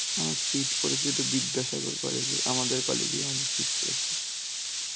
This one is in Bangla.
আর seat পরেছে তো বিদ্যাসাগর college এ, আমাদের college এই আমাদের seat পরেছে.